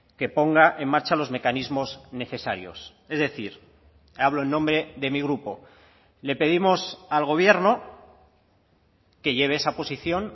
que ponga en marcha los mecanismos necesarios es decir hablo en nombre de mi grupo le pedimos al gobierno que lleve esa posición